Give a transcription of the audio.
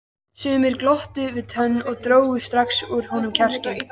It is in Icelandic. Sumir glottu við tönn og drógu strax úr honum kjarkinn.